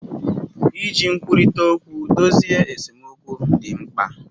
Iji nkwurita okwu dozie esemokwu di mkpa.